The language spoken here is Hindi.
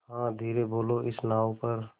हाँ धीरे बोलो इस नाव पर